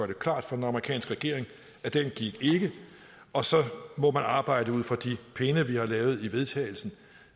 det klart for den amerikanske regering at den gik ikke og så må man arbejde ud fra de pinde vi har lavet i vedtagelse